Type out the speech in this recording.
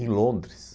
Em Londres.